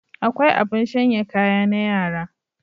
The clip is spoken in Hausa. Akwai abin shanya kaya na yara.